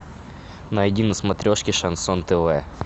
найди на смотрешке шансон тв